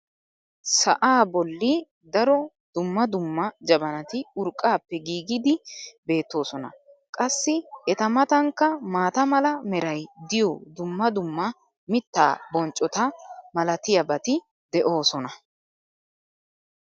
Sa"aa boli daro dumma dumma jabanati urqqaappe giigidi beetoosona. qassi eta matankka maata mala meray diyo dumma dumma mitaa bonccota malatiyaabati de'oosona.